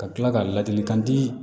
Ka tila ka ladilikan di